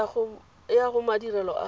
e ya go madirelo a